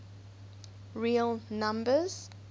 real numbers